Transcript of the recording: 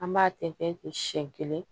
An b'a tɛntɛn ten siɲɛ kelen